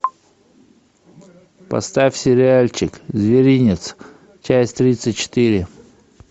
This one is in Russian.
поставь сериальчик зверинец часть тридцать четыре